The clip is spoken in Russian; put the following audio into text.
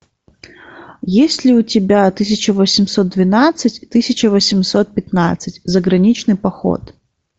есть ли у тебя тысяча восемьсот двенадцать тысяча восемьсот пятнадцать заграничный поход